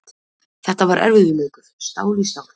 Þetta var erfiður leikur, stál í stál.